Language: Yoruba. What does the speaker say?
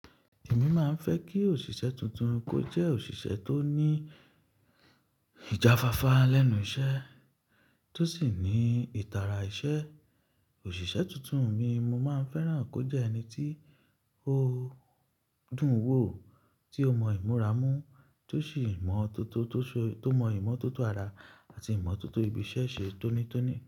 Èmi máa ń fẹ́ kí òṣìṣẹ́ tuntun kó jẹ́ òṣìṣẹ́ tó ní ìjafáfá lẹ́nu iṣẹ́ tó sì ní ìtara iṣẹ́. Òṣìṣẹ́ tuntun mi, mo máa ń fẹ́ràn kó jẹ ẹni tí ó dùn wò, tí ó mọ ìmúra mú, tó sì mọ toto, tó mọ ìmọ̀tótó ara àti ìmọ̀tótó ibi iṣẹ́ ṣe tónítóní.